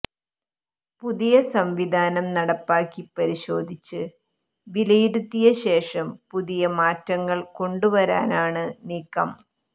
പുതിയ സംവിധാനം നടപ്പിലാക്കി പരിശോധിച്ച് വിലയിരുത്തിയ ശേഷം പുതിയ മാറ്റങ്ങൾ കൊണ്ടുവരാനാണ് നീക്കം